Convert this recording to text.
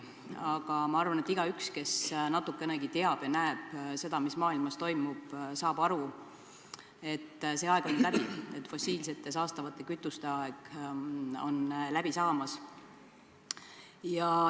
Aga ma arvan, et igaüks, kes natukenegi teab ja näeb seda, mis maailmas toimub, saab aru, et see aeg on nüüd läbi, et fossiilsete, saastavate kütuste aeg on läbi saamas.